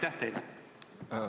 Aitäh teile!